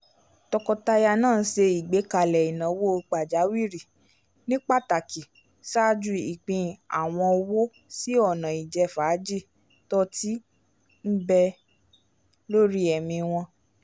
tọkọtaya náà ṣe igbekale ìnáwó pajawiri ní pàtàkì ṣáájú ìpín awọn owó si ọna ijẹfaaji t'òtí nbè lórí ẹmi wọn